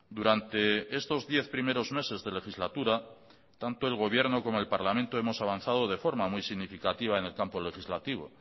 durante estos diez primeros meses de legislatura tanto el gobierno como el parlamento hemos avanzado de forma muy significativa en el campo legislativo